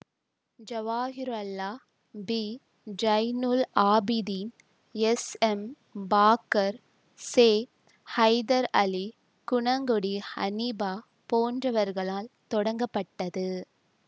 Jawahirullah P Zainul Abideen SM Bakkar செஹைதர்அலி குணங்குடி ஹனீபா போன்றவர்களால் தொடங்கப்பட்டது